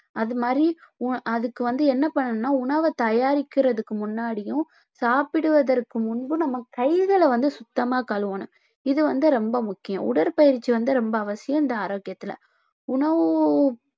அது மாதிரி உ~ அதுக்கு வந்து என்ன பண்ணனும்னா உணவை தயாரிக்கிறதுக்கு முன்னாடியும் சாப்பிடுவதற்கு முன்பு நம்ம கைகளை வந்து சுத்தமா கழுவணும் இது வந்து ரொம்ப முக்கியம் உடற்பயிற்சி வந்து ரொம்ப அவசியம் இந்த ஆரோக்கியத்துல உணவு